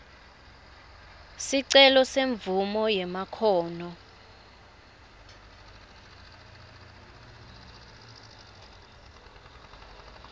sicelo semvumo yemakhono